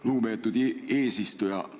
Lugupeetud eesistuja!